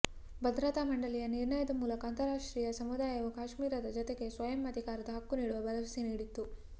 ಭದ್ರತಾ ಮಂಡಳಿಯ ನಿರ್ಣಯದ ಮೂಲಕ ಅಂತರರಾಷ್ಟ್ರೀಯ ಸಮುದಾಯವು ಕಾಶ್ಮೀರದ ಜನತೆಗೆ ಸ್ವಯಂ ಅಧಿಕಾರದ ಹಕ್ಕು ನೀಡುವ ಭರವಸೆ ನೀಡಿತ್ತು